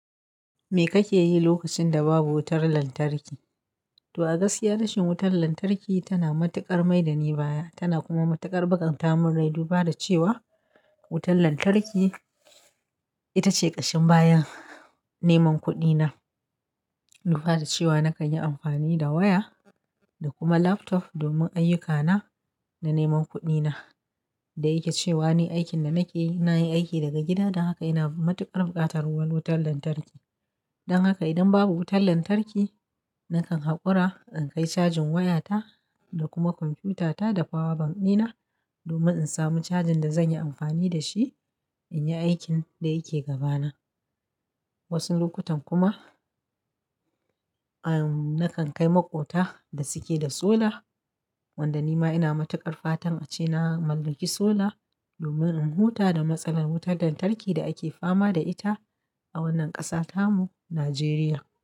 Me kake yi lokacin da babu wutar lantarki? To, a gaskiya rashin wutar lantarki tana matuƙar maida ni baya, tana kuma matuƙar bakanta min rai. Duba da cewa wutar lantarki ita ce ƙashin bayan neman kuɗina. Duba da cewa na kan yi amfani da waya da kuma laptop domin ayyukana da neman kuɗina. Da yake cewa ni aikin da nake yi, na yi aiki daga gida, don haka ina matuƙar bukatar wutar lantarki. Don haka idan babu wutar lantarki, na kan haƙura in kai cajin wayata da kuma kwamfutata da power bank dina domin in samu cajin da zan yi amfani da shi in yi aikin da yake gabana. Wasu lokutan kuma, ahn, na kan kai maƙota da suke da solar, wanda ni ma ina matuƙar fatan a ce na mallaki solar domin in huta da matsalar wutar lantarki da ake fama da ita a wannan ƙasa ta mu, Najeriya.